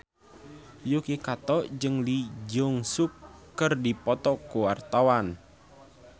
Yuki Kato jeung Lee Jeong Suk keur dipoto ku wartawan